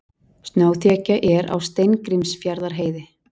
Snjóþekja er á Steingrímsfjarðarheiði